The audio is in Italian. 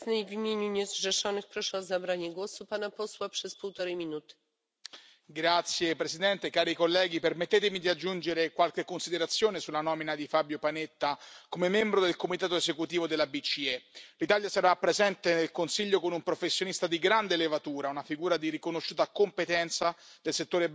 Signora Presidente, onorevoli colleghi, permettetemi di aggiungere qualche considerazione sulla nomina di Fabio Panetta come membro del comitato esecutivo della BCE. L'Italia sarà presente nel consiglio con un professionista di grande levatura, una figura di riconosciuta competenza del settore bancario e della politica monetaria.